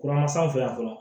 Kuran san fɛ yan fɔlɔ